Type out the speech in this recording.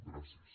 gràcies